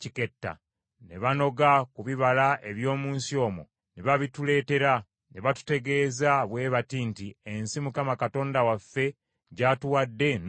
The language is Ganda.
Ne banoga ku bibala eby’omu nsi omwo ne babituleetera; ne batutegeeza bwe bati nti, “Ensi Mukama Katonda waffe gy’atuwadde nnungi nnyo.